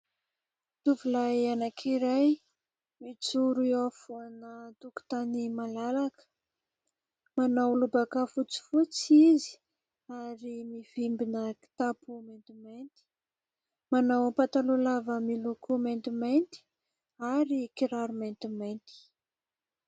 Tovolahy anankiray mijoro eo mijoro eo afovoana tokotany malalaka. Manao lobaka fotsifotsy izy ary mivimbina kitapo maintimainty. Manao pataloha lava miloko maintimainty ary kiraro maintimainty.